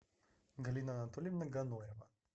галина анатольевна ганоева